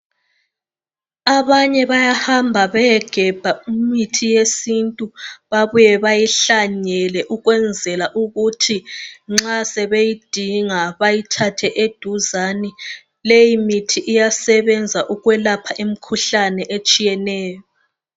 Abanye bayahamba beyegebha imithi yesintu babuye bayihlanyele ukwenzela ukuthi nxa sebeyidinga bayithathe eduzane. Leyimithi iyasebenza ukwelapha imikhuhlane etshiyeneyo.